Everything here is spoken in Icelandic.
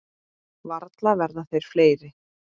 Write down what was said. Varla verða þeir fleiri.